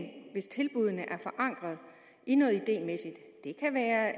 hvis tilbuddene er forankret i noget idémæssigt det kan være